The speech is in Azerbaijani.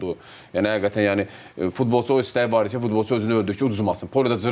Yəni həqiqətən, yəni futbolçu o istəyi var idi ki, futbolçu özünü öldürür ki, udmasın.